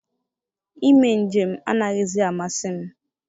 Ime njem anaghịzi amasị m.